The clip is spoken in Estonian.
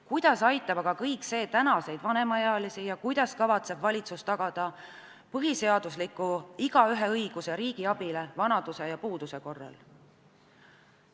Kuidas aitab aga kõik see tänaseid vanemaealisi ja kuidas kavatseb valitsus tagada põhiseadusliku igaühe õiguse riigi abile vanaduse ja puuduse korral?